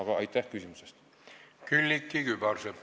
Külliki Kübarsepp, palun!